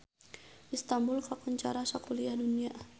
Istanbul kakoncara sakuliah dunya